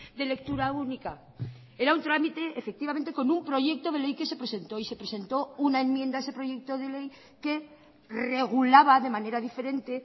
de lectura única era un trámite efectivamente con un proyecto de ley que se presentó y se presentó una enmienda a ese proyecto de ley que regulaba de manera diferente